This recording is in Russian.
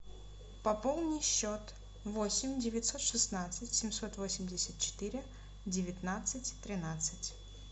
пополни счет восемь девятьсот шестнадцать семьсот восемьдесят четыре девятнадцать тринадцать